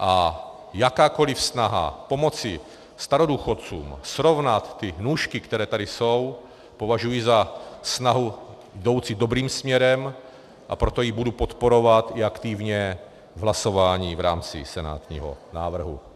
A jakoukoli snahu pomoci starodůchodcům, srovnat ty nůžky, které tady jsou, považuji za snahu jdoucí dobrým směrem, a proto ji budu podporovat i aktivně v hlasování v rámci senátního návrhu.